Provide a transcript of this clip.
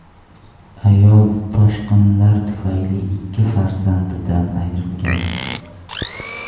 Ayol toshqinlar tufayli ikki farzandidan ayrilgan.